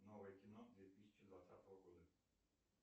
новое кино две тысячи двадцатого года